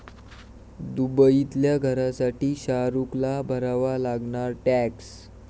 दुबईतल्या घरासाठी शाहरूखला भरावा लागणार टॅक्स